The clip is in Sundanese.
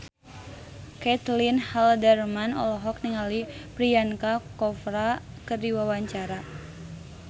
Caitlin Halderman olohok ningali Priyanka Chopra keur diwawancara